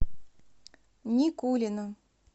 никулина